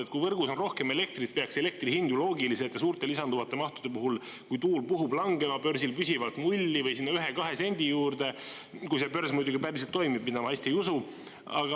Et kui võrgus on rohkem elektrit, peaks elektri hind ju loogiliselt ja suurte lisanduvate mahtude puhul, kui tuul puhub, langema börsil püsivalt nulli või sinna ühe-kahe sendi juurde, kui see börs muidugi päriselt toimib, mida ma hästi ei usu.